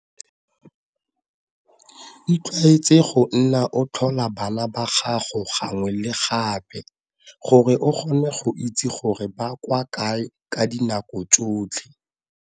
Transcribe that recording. Itlwaetse go nna o tlhola bana ba gago gangwe le gape, gore o kgone go itse gore ba kwa kae ka dinako tsotlhe.